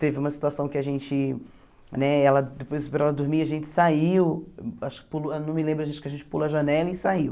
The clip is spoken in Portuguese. Teve uma situação que a gente né ela, depois para ela dormir, a gente saiu, acho que pulou não me lembro, acho que a gente pulou a janela e saiu.